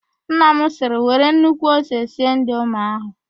Nna m sịrị, " were nnukwu ose sie indomie ahụ"!